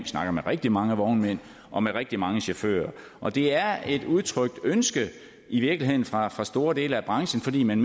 snakket med rigtig mange vognmænd og med rigtig mange chauffører og det er et udtrykt ønske i virkeligheden fra fra store dele af branchen fordi man